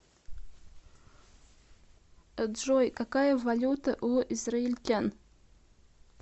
джой какая валюта у израильтян